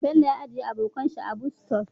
Bello ajiya abokan shi a Bus stop